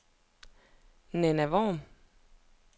Nanna Worm